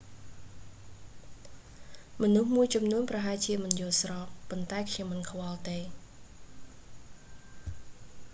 មនុស្សមួយចំនួនប្រហែលជាមិនយល់ស្រប ប៉ុន្តែខ្ញុំមិនខ្វល់ទេ